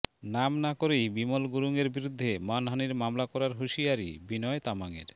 নাম না করেই বিমল গুরুংয়ের বিরুদ্ধে মানহানির মামলা করার হুঁশিয়ারি বিনয় তামাংয়ের